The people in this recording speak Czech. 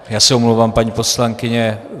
Já se omlouvám, paní poslankyně.